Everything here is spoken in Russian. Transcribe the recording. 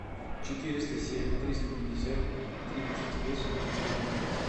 четыреста семь триста пятьдесят тридцать восемь девятнадцать